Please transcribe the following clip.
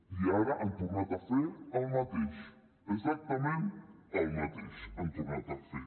i ara han tornat a fer el mateix exactament el mateix han tornat a fer